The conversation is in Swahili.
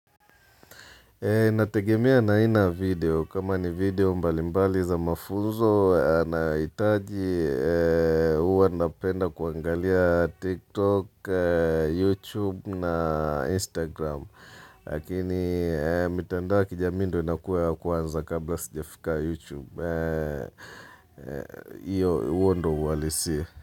Inategemea na aina ya video, kama ni video mbalimbali za mafunzo nahitaji huwa napenda kuangalia TikTok, YouTube na Instagram. Lakini, mtandao wa kijamii ndio inakuwa ya kwanza kabla sijafika YouTube. Iyo, huo ndio uhalisi.